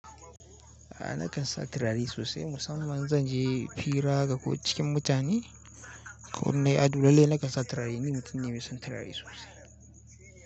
A nakan sa turare sosai. Musamman zan je fira ga ko cikin mutane, ko inna yi ado lalle nakan sa turare. Ni mutum ne mai son turare sosai.